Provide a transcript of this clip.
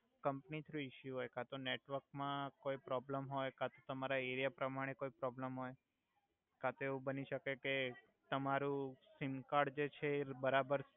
company through issue હોય કાતો network મા કોઇ પ્રોબલમ હોય કાતો તમારા એરિયા પ્રમાણે કોઇ પ્રોબલમ હોય કાતો એવુ બની સકે કે તમારુ સિમ કાર્ડ જે છે એ બરાબર